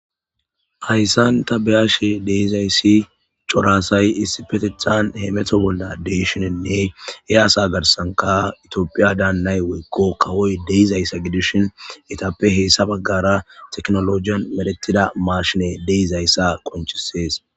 Haysan ta beyashe de'izaysi cora asay issippetethan hamutishe de'ishinine he asa garsanka tophiya daanay woyko kawoy de'izaysa gidishin eetape hesa bagara tekinologiyan medhetida mashiney de'izaysa besses.